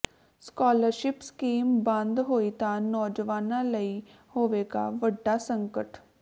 scholarship scheme ਬੰਦ ਹੋਈ ਤਾਂ ਨੌਜਵਾਨਾਂ ਲਈ ਹੋਵੇਗਾ ਵੱਡਾ ਸੰਕਟ